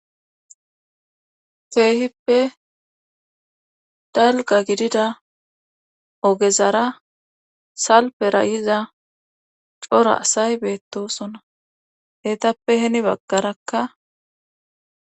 Keehippe dalgga gidida ogezara salpera yiza cora asay beèttoosona eetappe heni baggarakka.